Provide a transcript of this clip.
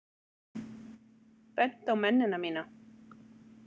Bent á mennina mína.